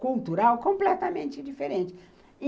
cultural completamente diferente.